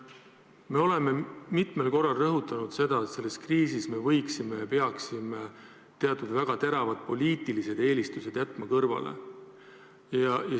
Me oleme mitmel korral rõhutanud seda, et selles kriisis me võiksime ja peaksime jätma teatud teravad poliitilised eelistused kõrvale.